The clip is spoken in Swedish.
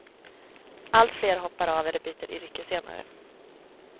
Allt fler hoppar av eller byter yrke senare.